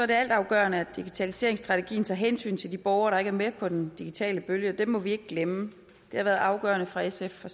det altafgørende at digitaliseringsstrategien tager hensyn til de borgere der ikke er med på den digitale bølge og dem må vi ikke glemme det har været afgørende for sf fra